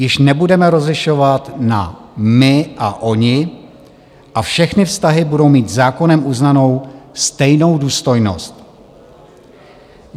Již nebudeme rozlišovat na my a oni a všechny vztahy budou mít zákonem uznanou stejnou důstojnost.